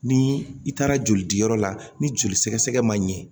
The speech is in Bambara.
Ni i taara jolidiyɔrɔ la ni joli sɛgɛ sɛgɛ man ɲɛ